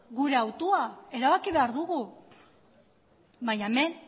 gure hautua erabaki behar dugu baina hemen